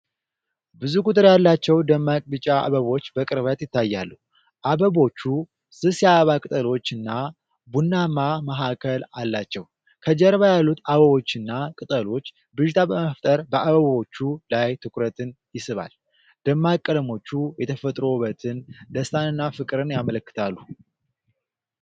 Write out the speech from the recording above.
ብዙ ቁጥር ያላቸው ደማቅ ቢጫ አበቦች በቅርበት ይታያሉ። አበቦቹ ስስ የአበባ ቅጠሎችና ቡናማ መሃከል አላቸው። ከጀርባ ያሉት አበቦችና ቅጠሎች ብዥታ በመፍጠር በአበባዎቹ ላይ ትኩረትን ይስባል። ደማቅ ቀለሞቹ የተፈጥሮ ውበትን፣ ደስታንና ፍቅርን ያመለክታሉ።